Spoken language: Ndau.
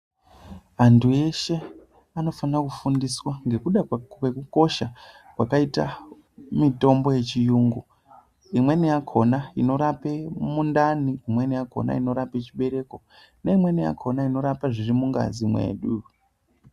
Antu eshe anofana kufundiswa ngekuda kwekukosha kwakaita mitombo yechiyungu. Imweni yakhona inorape mundani, imweni yakhona inorape chibereko neimweni yakhona inorapa zvirimungazi mwedu.